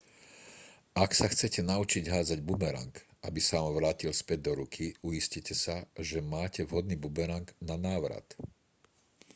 ak sa chcete naučiť hádzať bumerang aby sa vám vrátil späť do ruky uistite sa že máte vhodný bumerang na návrat